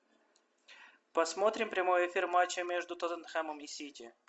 посмотрим прямой эфир матча между тоттенхэмом и сити